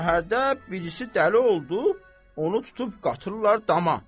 Şəhərdə birisi dəli oldu, onu tutub qatırlar dama.